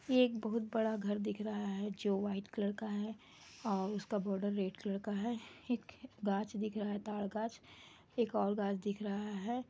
ये एक बहुत बड़ा घर दिख रहा है जो वाइट कलर का है और उसका बॉर्डर रेड कलर का है एक गाछ दिख रहा है तार गाछ एक और गाछ दिख रहा है।